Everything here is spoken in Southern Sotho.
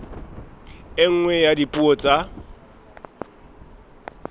e nngwe ya dipuo tsa